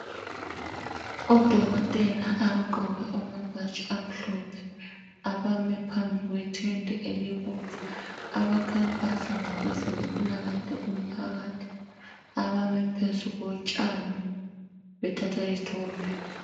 Odokotela abagqoke amabhatshi amhlophe abame phambi kwe tende elibomvu abakhankasa ngokwezempilakahle kumphakathi abame phezu kotshani bethatha izithombe.